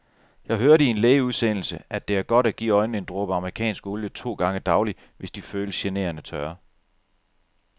Jeg hørte i en lægeudsendelse, at det er godt at give øjnene en dråbe amerikansk olie to gange daglig, hvis de føles generende tørre.